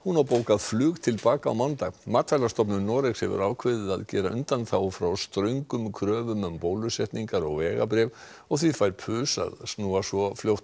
á bókað flug til baka á mánudag matvælastofnun Noregs hefur ákveðið að gera undanþágu frá ströngum kröfum um bólusetningar og vegabréf og því fær pus að snúa svo fljótt